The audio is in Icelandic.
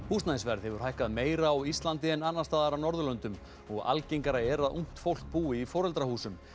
húsnæðisverð hefur hækkað meira á Íslandi en annars staðar á Norðurlöndum og algengara er að ungt fólk búi í foreldrahúsum